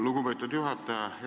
Lugupeetud juhataja!